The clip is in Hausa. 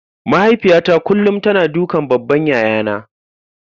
Mahaifiyata kullum tana dukan babban yayana.